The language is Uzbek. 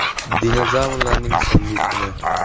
Dinozavrlarning so‘nggi kuni.